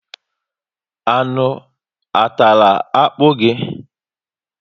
Anụ a tàrà akpu gị?